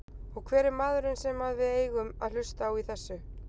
Og hver er maðurinn sem að við eigum að hlusta á í þessu?